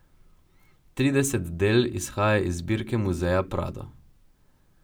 Trideset del izhaja iz zbirke muzeja Prado.